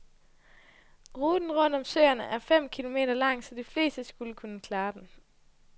Ruten rundt rundt om søerne er fem kilometer lang, så de fleste skulle kunne klare den.